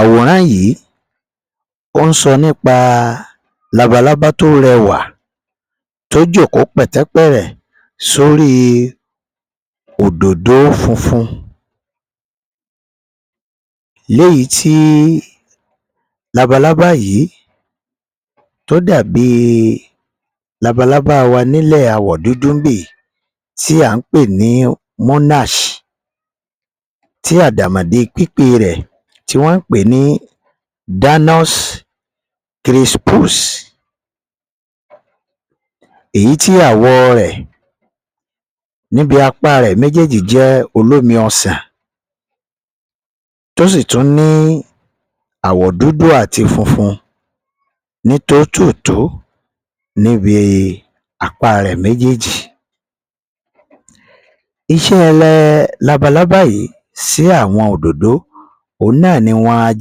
Àwòrán yìí, ó ń sọ nípa labalábá tó rẹwà, tó jókòó pẹ̀tẹ́pẹ̀ẹ̀rẹ̀ sóri òdòdó funfun léyìí tí labalábá yìí tó dà bíi labalábá wa nílẹ̀ awọ̀ dúdú ń bì yìí tí à ń pè ní Monash tí àdàmọ̀dè pípè rẹ̀ tí wọ́n pèé ní Danos Krispus. Èyí tí àwọ̀ rẹ̀ níbi apá rẹ̀ méjéèjì jẹ́ olómi ọsà tó sì tún ni àwọ̀ dúdú àti funfun ní tó-tò-tó níbi apá rẹ̀ méjéèjì. Iṣẹ́ labalábá yìí sí àwọn òdòdó, òhun náà ni wọn a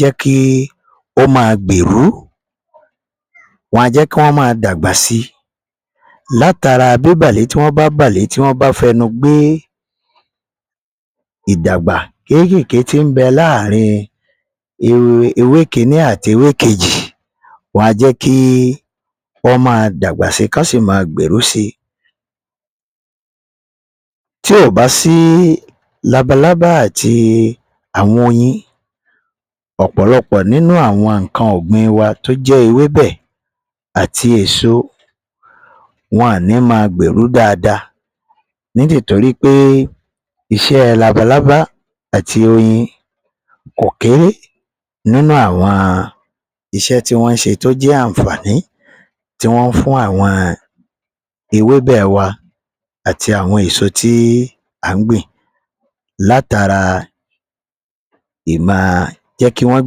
jẹ́kí ó ma gbèrú, wọn a jẹ́kí wọn máa dàgbà si látara bíbàle tí wọ́n bá bàlé tí wọ́n bá fẹnu gbé ìdàgbá kéékèèké tí ń bẹ láàárín ewé kìíní àti ewé kejì. Wọn a jẹ́kí wọ́n máa dàgbà si kán sì máa gbèrú si. Tí ò bá sí labalábá àti àwọn oyin, ọ̀pọ̀lọpọ̀ nínú àwọn nǹkan ọ̀gbìn wa tó jẹ́ ewébẹ̀ àti èso wọn ní ma gbèrú dáadáa ní tì torí pé iṣẹ́ labalábá àti oyin kò kéré nínú àwọn iṣẹ́ tí wọ́n ṣe tó jẹ́ àǹfààní tí wọ́n fún àwọn ewébẹ̀ wa àti àwọn èso tí à ń gbìn látara ì ma jẹ́kí wọ́n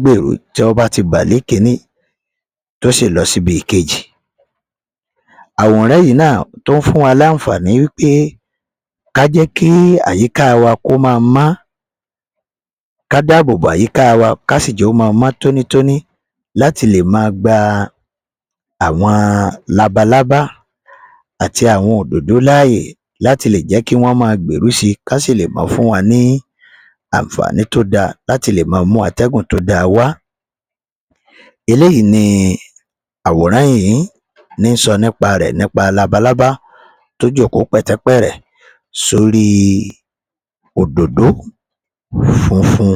gbèrú tí wọ́n bá ti bàlé ìkíní tó sì lọ sí ibi ìkejì. Àwòrán yìí náà tó ń fún wa láǹfààní wí pé ká jẹ́kí àyíká wa kó ma mọ́, ká dáàbòbo àyíká wa, kásì jẹ́ ó máa mọ́ tónítóní láti lè máa gba àwọn labalábá àti àwọn òdòdó láàyè láti lè jẹ́ kí wọn máa gbèrú si, kán sì lè ma fún wa ní àǹfààní tó dáa láti lè máa mú atẹ́gùn tó da wá. Eléyìí ni àwòrán yìí ní sọ nípa rẹ̀, nípa labalábá tó jókòó pẹ̀tẹ́pẹ́ẹ̀rẹ̀ sórí òdòdó funfun.